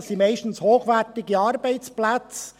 Es sind meistens hochwertige Arbeitsplätze.